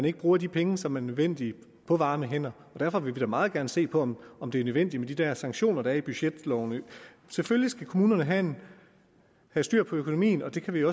ikke bruger de penge som er nødvendige på varme hænder og derfor vil vi da meget gerne se på om det er nødvendigt med de der sanktioner der er i budgetloven selvfølgelig skal kommunerne have styr på økonomien og det kan vi